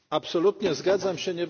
Absolutnie zgadzam się.